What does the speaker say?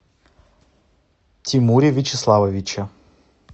тимуре вячеславовиче